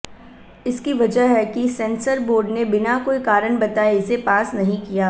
इसकी वजह है कि सेंसर बोर्ड ने बिना कोई कारण बताए इसे पास नहीं किया